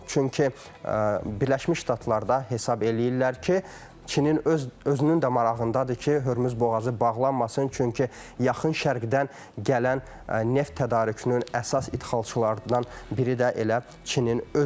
Çünki Birləşmiş Ştatlarda hesab eləyirlər ki, Çinin öz özünün də marağındadır ki, Hürmüz boğazı bağlanmasın, çünki yaxın şərqdən gələn neft tədarükünün əsas ixracçılarından biri də elə Çinin özüdür.